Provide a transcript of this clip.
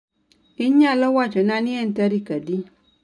Inyalo wachona ni en tarik adi